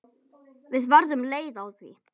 Við verðum leið á því.